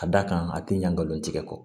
Ka d'a kan a ti ɲa nka nkalon tigɛ kɔ